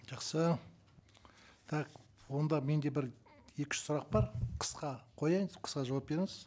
жақсы так онда менде бір екі үш сұрақ бар қысқа қояйын қысқа жауап беріңіз